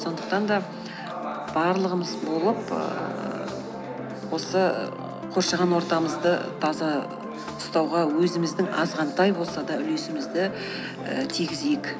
сондықтан да барлығымыз болып ііі осы қоршаған ортамызды таза ұстауға өзіміздің азғантай болса да үлесімізді і тигізейік